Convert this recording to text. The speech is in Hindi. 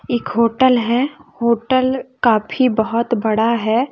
एक होटल है होटल काफी बहुत बड़ा है।